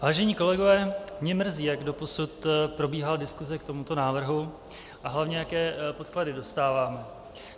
Vážení kolegové, mě mrzí, jak doposud probíhala diskuse k tomuto návrhu, a hlavně jaké podklady dostáváme.